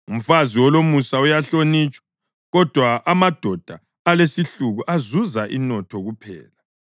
Umfazi olomusa uyahlonitshwa, kodwa amadoda alesihluku azuza inotho kuphela.